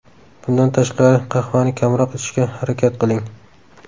Bundan tashqari, qahvani kamroq ichishga harakat qiling.